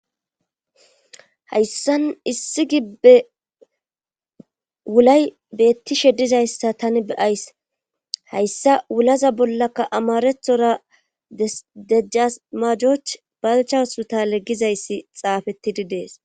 Hayssan issi gibbe wulay beettishe dizayssa tani beyays hayssa wulaza bollaka amarethora dejasmajoch balchawusu ta leggizayssi xaafettidi dees.